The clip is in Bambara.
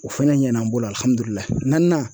O fɛnɛ ɲɛna n bolo alihamdulila naanina